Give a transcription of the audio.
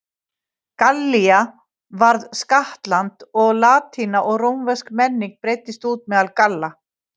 Gallía varð skattland og latína og rómversk menning breiddist út meðal Galla.